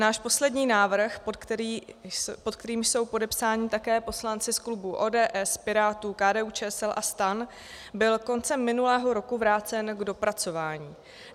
Náš poslední návrh, pod kterým jsou podepsáni také poslanci z klubů ODS, Pirátů, KDU-ČSL a STAN, byl koncem minulého roku vrácen k dopracování.